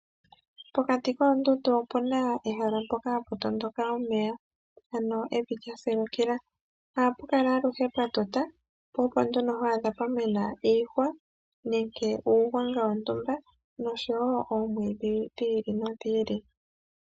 Pokati koondundu opuna ehala mpoka hapu tondoka omeya, ano evi lya silukila, ohapu kala aluhe pwa tuta po opo nduno twaadha pwa mena iihwa nenge uugwanga wontumba noshowo omwiidhi dhi ili nodhi ili.